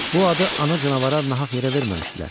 Bu adı ana canavara nahaq yerə verməmişdilər.